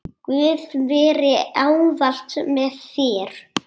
Guð veri ávallt með þér.